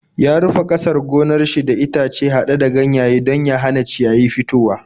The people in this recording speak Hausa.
Ya rufe ƙasar gonar shi da itace haɗe da ganyaye don ya hana ciyayi fitowa.